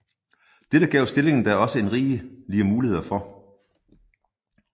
Dette gav stillingen da også rigelige muligheder for